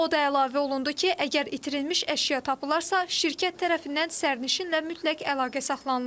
O da əlavə olundu ki, əgər itirilmiş əşya tapılarsa, şirkət tərəfindən sərnişinlə mütləq əlaqə saxlanılır.